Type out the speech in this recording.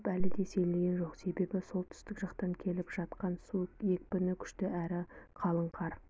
қауіп әлі де сейілген жоқ себебі солтүстік жақтан келіп жатқан су екпіні күшті әрі қалың қар